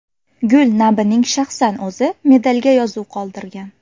Gul Nabining shaxsan o‘zi medalga yozuv qoldirgan.